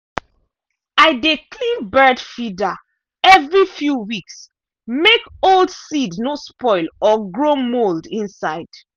i dey clean bird feeder every few weeks make old seed no spoil or grow mould inside.